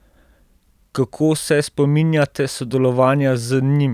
Kako se spominjate sodelovanja z njim?